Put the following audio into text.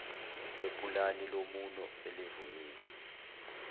kwepulani lomumo elivunyiwe